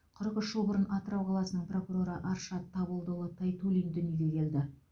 қырық үш жыл бұрын атырау қаласының прокуроры аршат табылдыұлы тайтуллин дүниеге келді